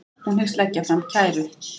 Hún hyggst leggja fram kæru